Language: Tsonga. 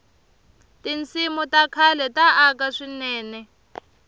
tinsimu ta khale ta aka swinene